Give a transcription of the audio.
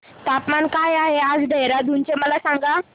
तापमान काय आहे आज देहराडून चे मला सांगा